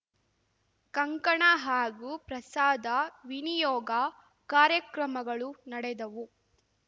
ಕಂಕಣ ಹಾಗೂ ಪ್ರಸಾದ ವಿನಿಯೋಗ ಕಾರ್ಯಕ್ರಮಗಳು ನಡೆದವು